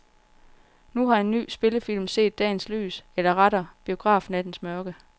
Nu har en ny spillefilm set dagens lys eller rettere biografnattens mørke.